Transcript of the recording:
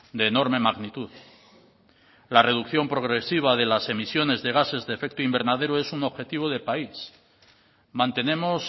de enorme magnitud la reducción progresiva de las emisiones de gases de efecto invernadero es un objetivo de país mantenemos